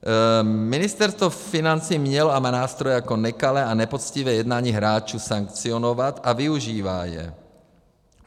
Ministerstvo financí mělo a má nástroje, jak nekalé a nepoctivé jednání hráčů sankcionovat, a využívá je.